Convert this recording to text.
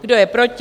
Kdo je proti?